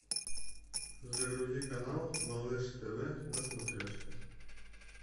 загрузи канал малыш тв на смотрешке